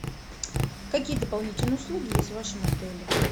какие дополнительные услуги есть в вашем отеле